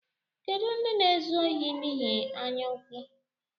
Kedu ndị na-ezu ohi n’ihi anyaụkwụ?